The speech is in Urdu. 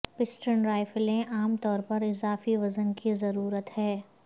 پسٹن رائفلیں عام طور پر اضافی وزن کی ضرورت ہے